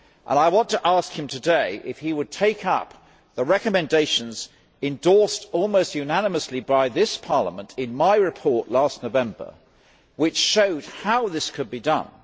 I want to ask him today if he would take up the recommendations endorsed almost unanimously by this Parliament in my report last November, which showed how this could be done.